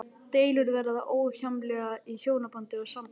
Deilur verða óhjákvæmilega í hjónabandi og sambúð.